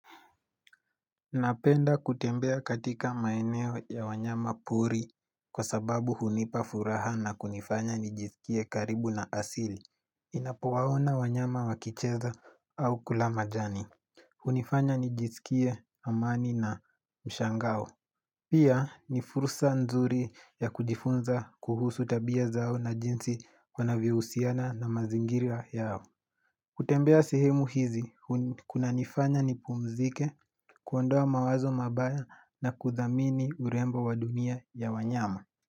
Napenda kutembea katika maeneo ya wanyama pori kwa sababu hunipa furaha na kunifanya nijisikie karibu na asili. Ninapowaona wanyama wakicheza au kula majani. Hunifanya nijisikie amani na mshangao. Pia ni fursa nzuri ya kujifunza kuhusu tabia zao na jinsi wanavyohusiana na mazingira yao. Kutembea sehemu hizi, kuna nifanya ni pumzike, kuondoa mawazo mabaya na kuthamini urembo wa dunia ya wanyama.